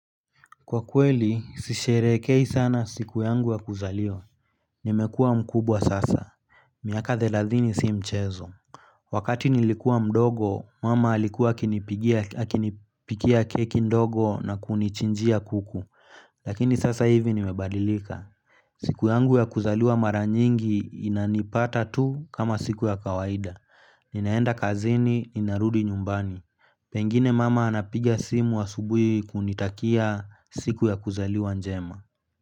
Kwa kweli, sisherehekei sana siku yangu ya kuzaliwa nimekua mkubwa sasa miaka thelathini si mchezo wakati nilikua mdogo, mama alikuwa akinipikia keki ndogo na kunichinjia kuku lakini sasa hivi nimebadilika siku yangu ya kuzaliwa mara nyingi inanipata tu kama siku ya kawaida ninaenda kazini, ninarudi nyumbani pengine mama anapiga simu asubuhi kunitakia siku ya kuzaliwa njema.